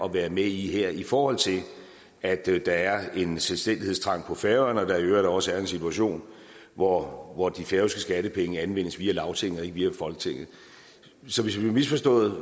at være med i her i forhold til at der er en selvstændighedstrang på færøerne og at der i øvrigt også er en situation hvor hvor de færøske skattepenge anvendes via lagtinget og ikke via folketinget så hvis vi har misforstået